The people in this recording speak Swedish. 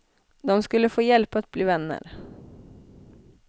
De skulle få hjälp att bli vänner.